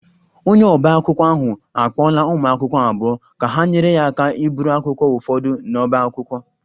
Onye ọba akwụkwọ ahụ akpọọla ụmụ akwụkwọ abụọ ka ha nyere ya aka iburu akwụkwọ ụfọdụ n'ọbá akwụkwọ